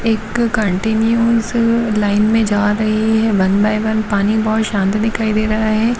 एक continuous line में जा रहे हैं वन बाय वन पानी बहुत शांति दिखाई दे रहा है।